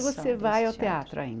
Você vai ao teatro